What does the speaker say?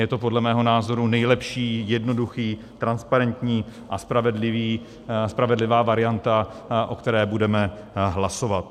Je to podle mého názoru nejlepší, jednoduchá, transparentní a spravedlivá varianta, o které budeme hlasovat.